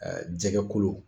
jɛgɛ kolo.